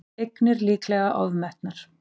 Eignir líklega ofmetnar